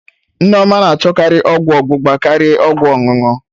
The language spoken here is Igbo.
Nneoma na achọkarị ọgwụ ọgbụgba karịa ọgwụ ọṅụṅụ